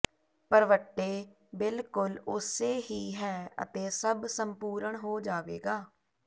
ਭਰਵੱਟੇ ਬਿਲਕੁਲ ਉਸੇ ਹੀ ਹੈ ਅਤੇ ਸਭ ਸੰਪੂਰਣ ਹੋ ਜਾਵੇਗਾ